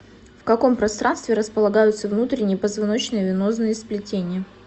в каком пространстве располагаются внутренние позвоночные венозные сплетения